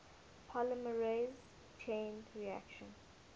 polymerase chain reaction